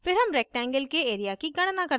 फिर हम rectangle के area की गणना करते हैं